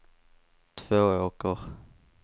Tvååker